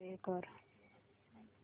play कर